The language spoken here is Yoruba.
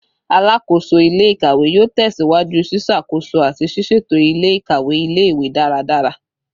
Alakoso ile-ikawe yoo tẹsiwaju ṣiṣakoso ati siseto ile-ikawe ile-iwe daradara